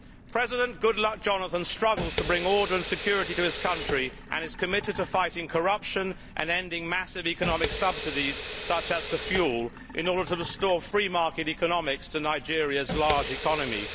President Goodluck Jonathan struggles to bring order and security to his country and is committed to fighting corruption and ending massive economic subsidies such as to fuel, in order to restore free market economics to Nigeria's large economy.